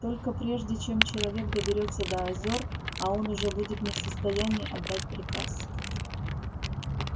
только прежде чем человек доберётся до озёр а он уже будет не в состоянии отдать приказ